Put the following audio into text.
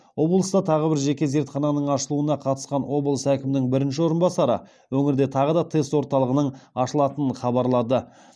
облыста тағы бір жеке зертхананың ашылуына қатысқан облыс әкімінің бірінші орынбасары өңірде тағы да тест орталығының ашылатынын хабарлады